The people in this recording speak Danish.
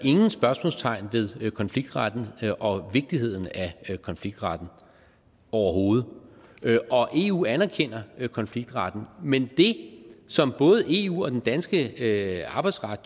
ingen spørgsmålstegn ved konfliktretten og vigtigheden af konfliktretten overhovedet og eu anerkender konfliktretten men det som både eu og den danske arbejdsret